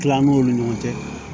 Tilam'olu ɲɔgɔn cɛ